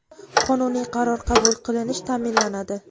qonuniy qaror qabul qilinish ta’minlanadi.